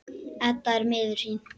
Edda er miður sín.